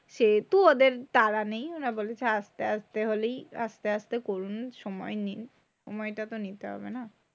সেহেতু ওদের তাড়া নেই। ওরা বলছে থাক আস্তে আস্তে হলেই আস্তে করুন সময় নিন। সময়টা তো নিতে হবে না?